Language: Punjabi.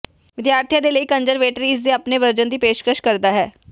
ਵਿਦਿਆਰਥੀ ਦੇ ਲਈ ਕੰਜ਼ਰਵੇਟਰੀ ਇਸ ਦੇ ਆਪਣੇ ਵਰਜਨ ਦੀ ਪੇਸ਼ਕਸ਼ ਕਰਦਾ ਹੈ